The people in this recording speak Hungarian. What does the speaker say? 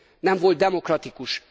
nem volt demokratikus.